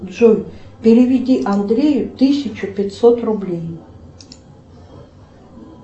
джой переведи андрею тысячу пятьсот рублей